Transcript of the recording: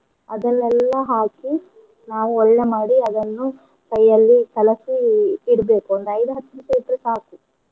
ಅದನ್ನೇಲ್ಲ ಹಾಕಿ ನಾವು ಒಳ್ಳೇ ಮಾಡಿ ಅದನ್ನು ಕೈಯಲ್ಲಿ ಕಲಸಿ ಇಡ್ಬೇಕ್ ಒಂದ್ ಐದ್ ಹತ್ತ್ ನಿಮಿಷ ಇಟ್ರೆ ಸಾಕು.